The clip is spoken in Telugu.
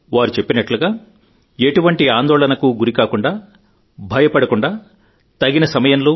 వారు చెప్పినట్లుగా ఎటువంటి ఆందోళనకు గురికాకుండా భయపడకుండా తగిన సమయంలో